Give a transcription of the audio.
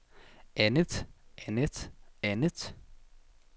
andet andet andet